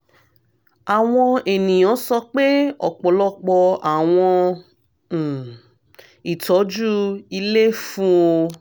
awọn eniyan sọ pe ọpọlọpọ awọn um itọju ile fun o